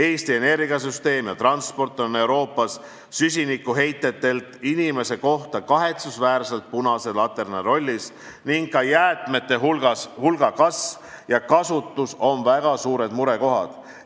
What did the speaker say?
Eesti energiasüsteem ja transport on Euroopas süsinikuheitelt inimese kohta kahetsusväärselt punase laterna rollis ning ka jäätmete hulga kasv ja kasutus on väga suured murekohad.